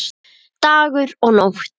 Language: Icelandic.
Dagur og Nótt.